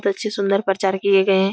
अच्छी सुंदर परचार किये गए हैं।